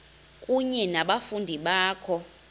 kunye nabafundi bakho